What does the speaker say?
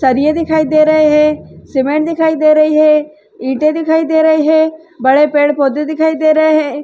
सरिये दिखाई दे रहें हैं। सीमेंट दिखाई दे रही हैं। इटें दिखाई दे रहे हैं। बड़े पेड़-पौधे दिखाई दे रहें हैं।